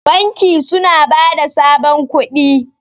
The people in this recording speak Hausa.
banki suna ba da sabon kudi